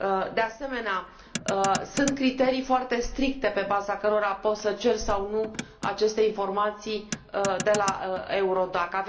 De asemenea, sunt criterii foarte stricte pe baza cărora poți să ceri sau nu aceste informații de la EURODAC.